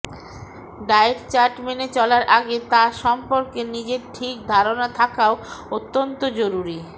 diet chart মেনে চলার আগে তা সম্পর্কে নিজের ঠিক ধারণা থাকাও অত্যন্ত জরুরি